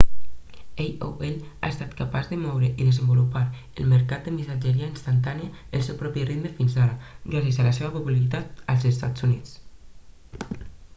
aol ha estat capaç de moure i desenvolupar el mercat de missatgeria instantània al seu propi ritme fins ara gràcies a la seva popularitat als estats units